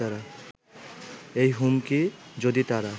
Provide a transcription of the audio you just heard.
এই হুমকি যদি তারা